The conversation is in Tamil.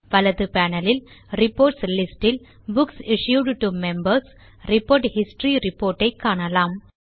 வலது panelலில் ரிப்போர்ட்ஸ் லிஸ்ட் இல் books issued to Members report history report ஐ காணலாம்